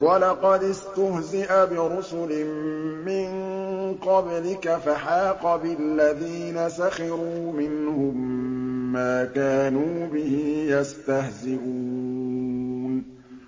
وَلَقَدِ اسْتُهْزِئَ بِرُسُلٍ مِّن قَبْلِكَ فَحَاقَ بِالَّذِينَ سَخِرُوا مِنْهُم مَّا كَانُوا بِهِ يَسْتَهْزِئُونَ